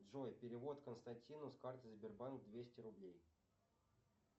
джой перевод константину с карты сбербанк двести рублей